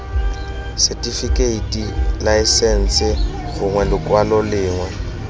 setifikeiti laesense gongwe lekwalo lengwe